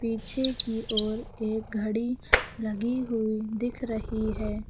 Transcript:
पीछे की ओर एक घड़ी लगी हुई दिख रही है।